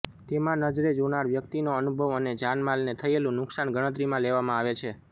તેમાં નજરે જોનાર વ્યક્તિનો અનુભવ અને જાનમાલ ને થયેલું નુકસાન ગણતરીમાં લેવામાં આવે છે